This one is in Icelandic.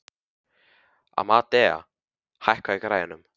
Amadea, hækkaðu í græjunum.